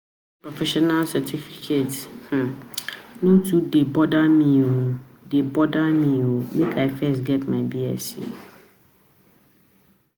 to get professional certificate um no too dey bother me dey bother me o, make I first get my Bsc